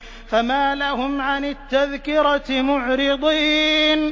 فَمَا لَهُمْ عَنِ التَّذْكِرَةِ مُعْرِضِينَ